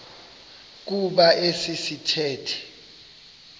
kuba esi sithethe